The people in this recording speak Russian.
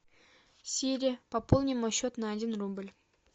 сири пополни мой счет на один рубль